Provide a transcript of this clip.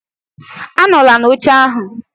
Anọla n'oche ahụ